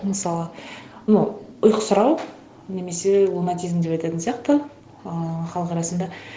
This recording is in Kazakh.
мысалы ну ұйқысырау немесе лунатизм деп айтатын сияқты ыыы халық арасында